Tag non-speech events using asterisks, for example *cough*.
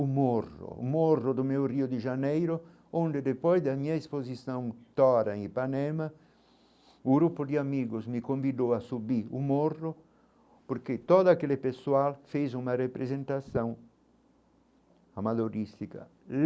Um morro, um morro do meu rio de janeiro, onde depois da minha exposição *unintelligible* em Ipanema, um grupo de amigos me convidou a subir o morro, porque todo aquele pessoal fez uma representação amadorística.